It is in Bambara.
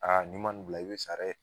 Aa ni ma nin bila i bi sa dɛ.